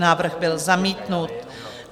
Návrh byl zamítnut.